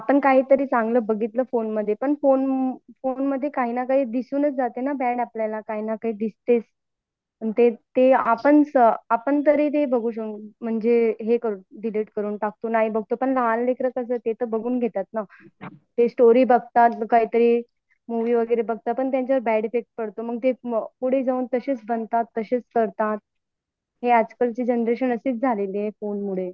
आपण काही तरी चांगल बघितलं फोनमध्ये पण फोनमध्ये काहींना काही दिसूनच जाते ना बॅड आपल्याला काहींना काही दिसतेच आपण बघितलं तर ते हे करतो म्हणजे डिलीट करून टाकतो नाही बघटों पण लहान लेकरं तर ते बघून घेतात ना ते स्टोरी बघतात काहीतरी मुव्ही वगैरे बघतात यामुळे त्यांच्यावर बॅड इफेक्ट पडतो पुढे जाऊन तसेच बनतात तशेच करतात हि आजकालची जनरेशन अशीच झालेली आहे फोनमुळे